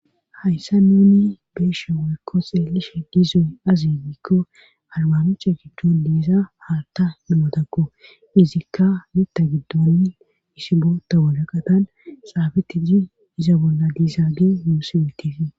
Hayssa nuuni beesha worykko xeelishe diizoy azi giikko albamocha giddon diisa haalta namotakku izikka mitta giddon isi bootta waraqatan saabeti ji iza bolla diisaa ge yuusiwetifi